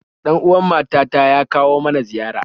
Ɗan uwan mata ta ya kawo mana ziyara